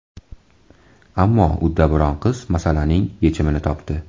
Ammo uddaburon qiz masalaning yechimini topdi.